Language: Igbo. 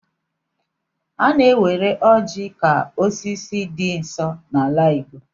A na-ewere ọjị ka osisi dị nsọ n'ala igbo.